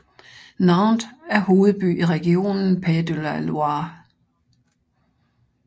Nantes er hovedby i regionen Pays de la Loire